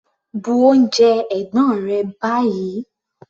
Bu oúnjẹ ẹ̀gbọ́n rẹ báyìí!